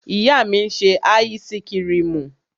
Ìyá mi ń ṣe áísíkrimù.